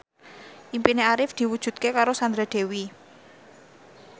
impine Arif diwujudke karo Sandra Dewi